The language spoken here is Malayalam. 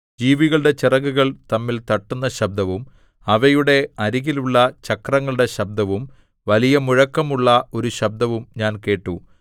ജീവികളുടെ ചിറകുകൾ തമ്മിൽ തട്ടുന്ന ശബ്ദവും അവയുടെ അരികിലുള്ള ചക്രങ്ങളുടെ ശബ്ദവും വലിയ മുഴക്കമുള്ള ഒരു ശബ്ദവും ഞാൻ കേട്ടു